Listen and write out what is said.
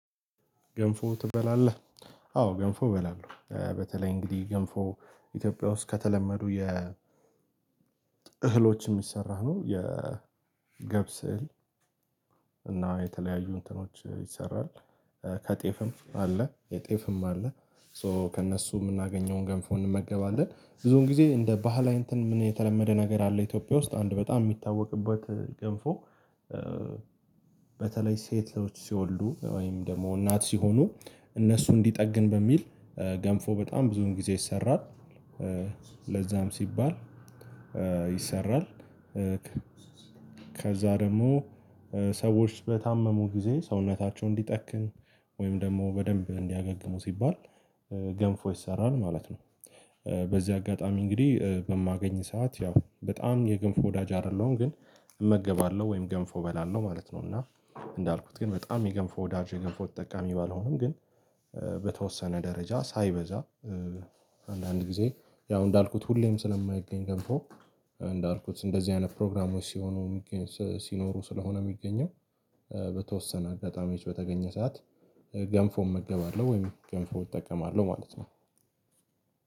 ገንፎ ትበላለህ? አዎ ገንፎ እበላለሁ በተለይ እንግዲህ ገንፎ ኢትዮጵያ ውስጥ ከተለመዱ የ እህሎች የሚሰራ ነው። የ ገብስ እና የተለያዩ እንትኖች ይሰራል። ከጤፍም አለ የጤፍም አለ ሶ ከእነሱ የምናገኘውን ገንፎ እንመገባለን ብዙውን ጊዜ እንደ ባህላዊ እንትን ምን የተለመደ ነገር አለ ኢትዮጵያ ውስጥ አንድ በጣም የሚታወቅበት ገንፎ። በተለይ ሴቶች ሲወልዱ ወይም ደግሞ እናት ሲሆኑ እነሱን እንዲጠግን በሚል ገንፎ በጣም ብዙውን ጊዜ ይሰራል። ለዛም ሲባል ይሰራል። ከዛ ደግሞ ሰዎች በታመሙ ጊዜ ሰውነታቸው እንዲጠክን ወይም ደግሞ በደንብ እንዲያገግሙ ሲባል ገንፎ ይሰራል ማለት ነው። በዚህ አጋጣሚ እንግዲህ በማገኝ ሰዓት ያው በጣም የገንፎ ወዳጅ አይደለሁም ግን እመገባለሁ ወይም ገንፎ እበላለሁ ማለት ነው። እና እንዳልኩት ግን በጣም የገንፎ ወዳጄ የገንፎ ተጠቃሚ ባልሆንም ግን በተወሰነ ደረጃ ሳይበዛ አንዳንድ ጊዜ ያው እንዳልኩት ሁሌም ስለማይገኝ ገንፎ እንዳልኩት እንደዚህ አይነት ፕሮግራሞች ሲሆኑ። ሲኖሩ ስለሆነ የሚገኘው በተወሰነ አጋጣሚዎች በተገኘ ሰዓት ገንፎ እመገባለሁ ወይም ገንፎ እጠቀማለሁ ማለት ነው።